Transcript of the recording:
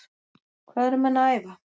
Hvað eru menn að æfa?